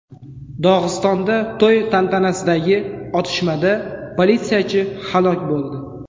Dog‘istonda to‘y tantanasidagi otishmada politsiyachi halok bo‘ldi.